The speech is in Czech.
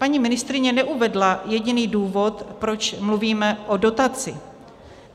Paní ministryně neuvedla jediný důvod, proč mluvíme o dotaci.